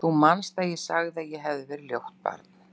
Þú manst að ég sagði að ég hefði verið ljótt barn.